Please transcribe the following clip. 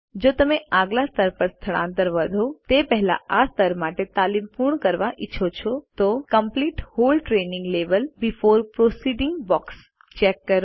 જો તમે આગલા સ્તર પર આગળ વધો તે પહેલાં આ સ્તર માટે તાલીમ પૂર્ણ કરવા ઈચ્છો છો તો complete whole training level before proceeding box check કરો